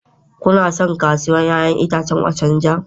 Kuna son kasuwar 'ya'yan itace Ochanja?